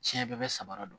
Tiɲɛ bɛɛ bɛ samara dɔn